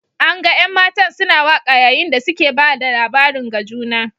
An gan an'matan suna waka yayin da suke ba da labarin ga juna.